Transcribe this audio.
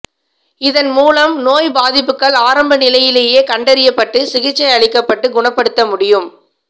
இதன் மூலம் நோய் பாதிப்புகள் ஆரம்ப நிலையிலேயே கண்டறியப்பட்டு சிகிச்சை அளிக்கப்பட்டு குணப்படுத்த முடியும்